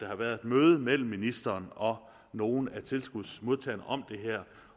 har været et møde mellem ministeren og nogle af tilskudsmodtagerne om det her